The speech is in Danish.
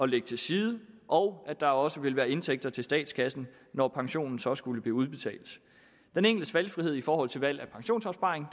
lægge til side og at der også ville være indtægter til statskassen når pensionen så skulle blive udbetalt den enkeltes valgfrihed i forhold til valg af pensionsopsparing